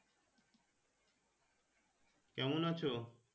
কেমন আছো